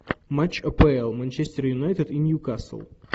матч апл манчестер юнайтед и ньюкасл